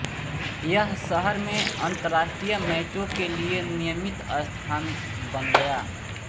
यह शहर में अंतरराष्ट्रीय मैचों के लिए नियमित स्थान बन गया